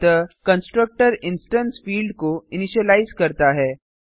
अतः constructor instance field को initialise करता है